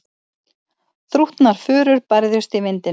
Þrútnar furur bærðust í vindinum.